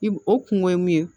I o kungo ye mun ye